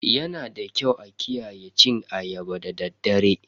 Yanada kyau a kiyaye cin ayaba da daddare.